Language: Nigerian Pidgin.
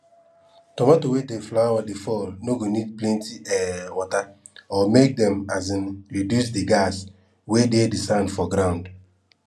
tomato wey di flower dey fall go need plenty um water or make dem um reduce di gas wey dey di sand for grand